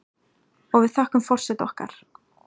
Og við þökkum forseta okkar